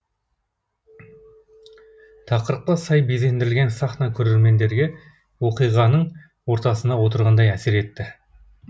тақырыпқа сай безендірілген сахна көрермендерге оқиғаның ортасында отырғандай әсер етті